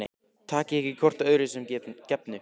Takið ekki hvort öðru sem gefnu